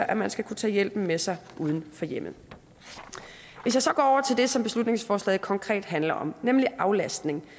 at man skal kunne tage hjælpen med sig uden for hjemmet hvis jeg så går over til det som beslutningsforslaget konkret handler om nemlig aflastning